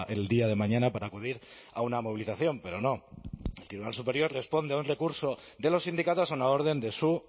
en el día de mañana para acudir a una movilización pero no el tribunal superior responde a un recurso de los sindicatos a una orden de su